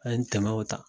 An ye tɛmɛw ta